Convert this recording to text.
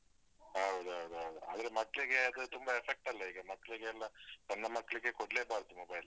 ಹೌದೌದು. ಆದ್ರೆ ಮಕ್ಳಿಗೆ ಅದ್ರ ತುಂಬ effect ಲ್ಲ ಈಗ, ಮಕ್ಳಿಗೆಲ್ಲ ಸಣ್ಣ ಮಕ್ಳಿಗೆ ಕೊಡ್ಲೇಬಾರ್ದು mobile